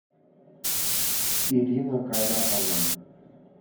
ирина кайратовна